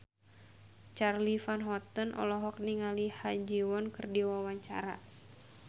Charly Van Houten olohok ningali Ha Ji Won keur diwawancara